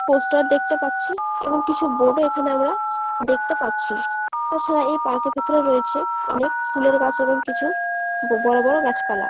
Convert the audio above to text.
poster দেখতে পাচ্ছি এবং কিছু বোর্ড ও এখানে আমরা দেখতে পাচ্ছি এছাড়া এই পার্ক এর ভেতরে রয়েছে অনেক ফুলের গাছ এবং কিছু বড় বড় গাছ পালা